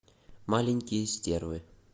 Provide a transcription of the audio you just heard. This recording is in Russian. маленькие стервы